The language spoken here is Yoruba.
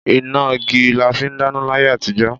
Ìnágí làfí dàná làyé àtíjọ̀.